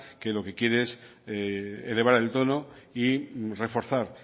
que lo que quiere es elevar el tono y reforzar